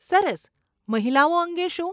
સરસ. મહિલાઓ અંગે શું?